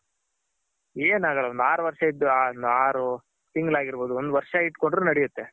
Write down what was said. ಏನಾಗಲ್ಲ ಒಂದ್ ಆರ್ ವರ್ಷ ಇದ್ದು ಒಂದು ಆರ್ ತಿಂಗಳ್ ಆಗಿರ್ ಬೋದು ಒಂದ್ ವರ್ಷ ಇತ್ಕೊಂದ್ರು ನೆಡೆಯುತ್ತೆ.